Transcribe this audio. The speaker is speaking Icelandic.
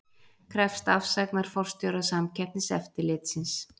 Krefst afsagnar forstjóra Samkeppniseftirlitsins